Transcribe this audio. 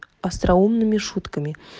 остроумными шутками